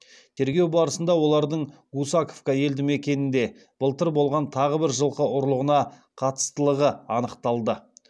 тергеу барысында олардың гусаковка елдімекенінде былтыр болған тағы бір жылқы ұрлығына қатыстылығы анықталды